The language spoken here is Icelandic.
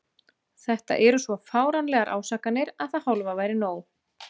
Þetta eru svo fáránlegar ásakanir að það hálfa væri nóg.